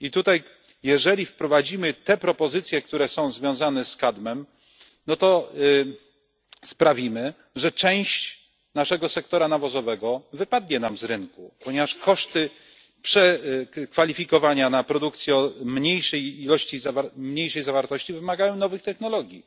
I tutaj jeżeli wprowadzimy te propozycje, które są związane z kadmem, no to sprawimy, że część naszego sektora nawozowego wypadnie nam z rynku, ponieważ koszty przekwalifikowania na produkcję o mniejszej zawartości wymagają nowych technologii,